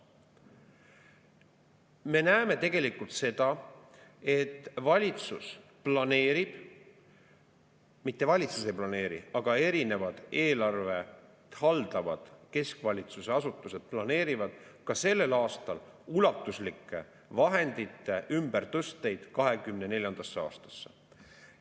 Me näeme tegelikult seda, et valitsus planeerib – mitte valitsus ei planeeri, vaid erinevad eelarvet haldavad keskvalitsuse asutused planeerivad – ka sellel aastal ulatuslikke vahendite ümbertõsteid 2024. aastasse.